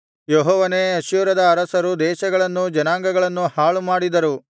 ಯೆಹೋವನೇ ಅಶ್ಶೂರದ ಅರಸರು ದೇಶಗಳನ್ನೂ ಜನಾಂಗಗಳನ್ನೂ ಹಾಳುಮಾಡಿದರು